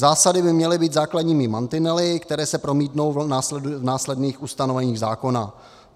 Zásady by měly být základními mantinely, které se promítnou v následných ustanoveních zákona."